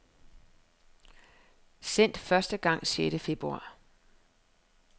Sendt første gang sjette februar.